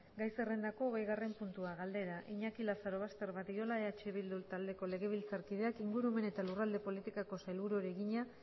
gai zerrendako hogeigarren puntua galdera iñaki lazarobaster badiola eh bildu taldeko legebiltzarkideak ingurumen eta lurralde politikako sailburuari egina